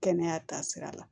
Kɛnɛya taasira la